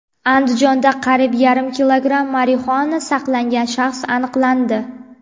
Andijonda qariyb yarim kilogramm marixuana saqlagan shaxs aniqlandi.